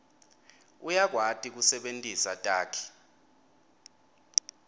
uyakwati kusebentisa takhi